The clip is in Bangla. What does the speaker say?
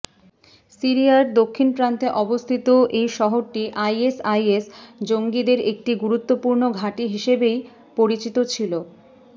সিরিয়ার দক্ষিণপ্রান্তে অবস্থিত এই শহরটি আইএসআইএস জঙ্গিদের একটি গুরুত্বপূর্ণ ঘাঁটি হিসাবেই পরিচিত ছিল